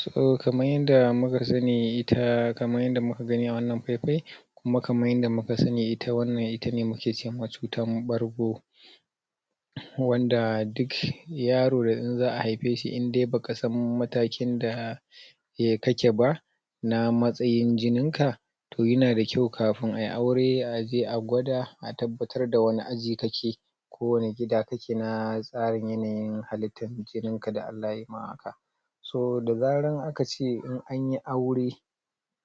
so kaman yanda muka sani ita kaman yanda muka gani a wannan fai fai kuma kaman yanda muka sani ita wannan ita muke ce ma cutan ɓargo wanda duk yaro in za'a haife shi indai baka san matakin da kake ba na matsayin jinin ka toh yana da kyau kafun ayi aure a je a gwaɗa a tabbatar da wani aji kake ko wani gida kake na tsarin yanyin halittan jinin ka da Allah yayi ma haka so da zaran in akace in anyi aure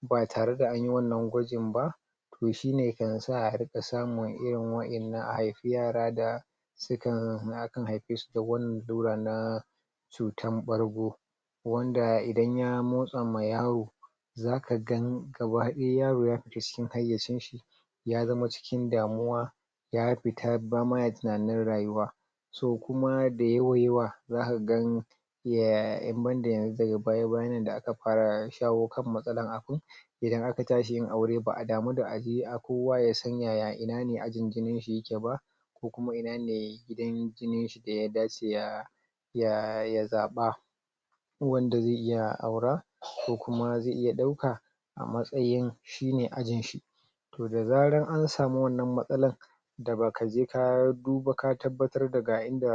tba tare da an yi wannan gwajin ba toh shine kan sa a samu irin wa'ennan a haifi yara da sukan haife su da wannan lallura na cutan ɓargo wanda idan ya motsa ma yaro zaka gan gaba daya yaro ya fita cikin haiyacin shi ya zama cikin damuwa ya fita ba ma ya tunanin rayuwa so kuma da yawa yawa zaka gan in ban da yanzu daga baya bayn nan da aka fara shawo kan matsalan abun idan aka tashi yin aure ba'a damu da kowa yasan ina ne ajin jinin shi yake ba ko kuma inane gidan jinin shi da ya dace ya zaɓa wanda zai iya aura ko kuma zai iya dauka a matsayin shine ajin shi da zaran an samu wannan matsalan da baka je ka duba ka tabbatar daga inda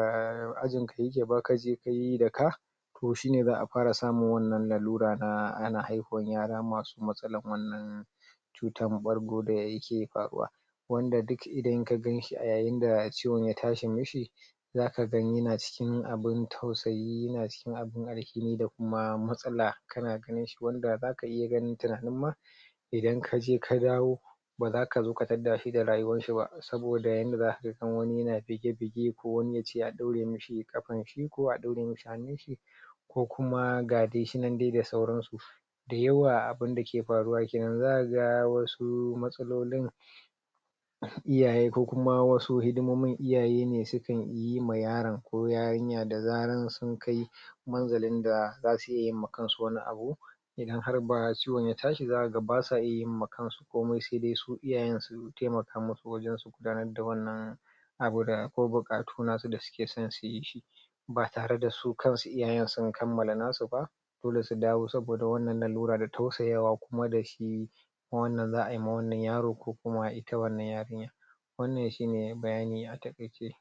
ajin ka kake ba kaje kayi da ka toh shine za'a fara samun wannan lalluran na ana haifan yara masu matsalan wannan cutan ɓargo da yake faruwa wanda duk idan ka ganshi a yayin da ciwon ya tashi mishi zaka ga yana cikin abun tausayi abun alfini da kuma matsala kana ganin shi wanda zaka ganin tunanin ma idan kaje ka dawo baza kazo ka tadda shi da rayuwan shi ba saboda yanda zaka ga wani na bige bige ko wani yace a daure mishi kafa shi ko a daure mishi hannun shi ko kuma ga dai shinan dai da sauran su da yawa abun dake faruwa kenan zaka ga wasu matsalolin iyaye ko kuma wasu hidimomin iyaye ne sukan yi ma yaron ko yarinya da zaran sun kai manzalin da zasuyi ma kansu wani abu idan ba ciwon ya tashi zka ga basu iya yin ma kansu komai sai dai su iyayen su taimaka musu wajen su gudanar da wannan abu da kawai bukatu nasu da suke son su yi shi ba tare da su kansu iyayen sun kammala nasu ba dole su dawo saboda wannan lallura da tausayawa kuma dashi wannan za'a yi ma wannan yaro ko kuma ita wannan wannan shine bayani a takaice